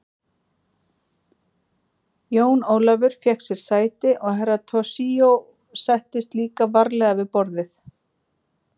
Jón Ólafur fékk sér sæti og Herra Toshizo settist líka varlega við borðið.